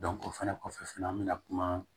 o fɛnɛ kɔfɛ fɛnɛ an mɛna kuma